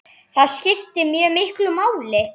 Það skiptir mjög miklu máli.